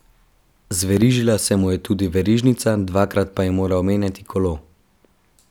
Zverižila se mu je tudi verižnica, dvakrat pa je moral menjati kolo.